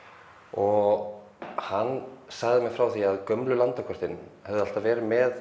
og hann sagði mér frá því að gömlu landakortin hefðu alltaf verið með